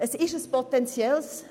Ich gebe Andrea de Meuron recht;